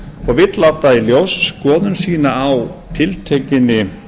og vill láta í ljós skoðun sína á tiltekinni